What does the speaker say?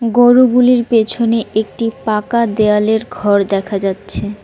গরুগুলির পেছনে একটি পাকা দেওয়ালের ঘর দেখা যাচ্ছে।